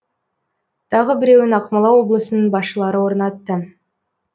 тағы біреуін ақмола облысының басшылары орнатты